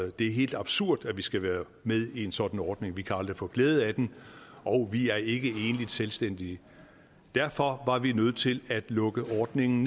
det er helt absurd at vi skal være med i en sådan ordning for vi kan aldrig få glæde af den og vi er ikke enlige selvstændige derfor var vi nødt til at lukke ordningen